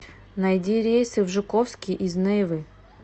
найди рейсы в жуковский из нейвы